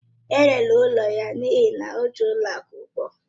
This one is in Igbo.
E rere ụlọ ya n'ihi na o ji n'ụlọ akụ ụgwọ